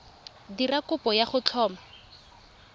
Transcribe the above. dira kopo ya go tlhoma